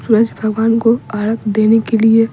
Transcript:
सूरज भगवान को अढ़ग देने के लिए --